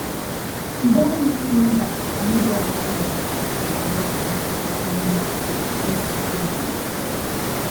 “ Ị ghaghị ịsị mba n’ụzọ dara ụda ma doo anya. ” Daniel, o si Togo.